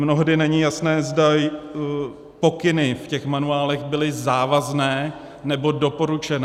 Mnohdy není jasné, zda pokyny v těch manuálech byly závazné, nebo doporučené.